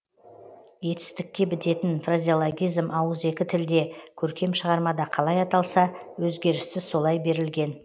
етістікке бітетін фразеологизм ауызекі тілде көркем шығармада қалай аталса өзгеріссіз солай берілген